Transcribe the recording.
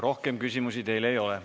Rohkem küsimusi teile ei ole.